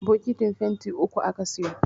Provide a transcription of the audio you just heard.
bokitin fenti uku aka siyo